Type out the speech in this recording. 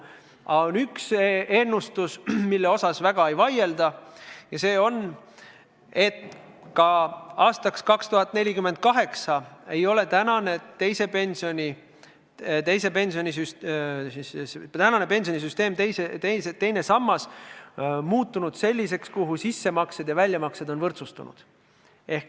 Aga on üks ennustus, mille osas väga ei vaielda, ja see on see, et ka 2048. aastaks ei ole tänane pensionisüsteem, teine sammas, muutunud selliseks, et sissemaksed ja väljamaksed oleksid võrdsustunud.